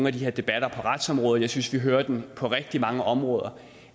af de her debatter på retsområdet jeg synes vi hører den på rigtig mange områder